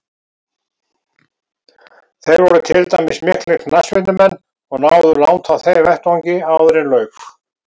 Þeir voru til dæmis miklir knattspyrnumenn og náðu langt á þeim vettvangi áðuren lauk.